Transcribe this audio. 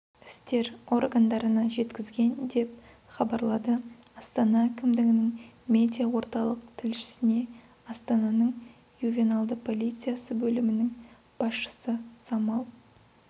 істер органдарына жеткізген деп хабарлады астана әкімдігінің медиа орталық тілшісіне астананың ювеналды полициясы бөлімінің басшысысамал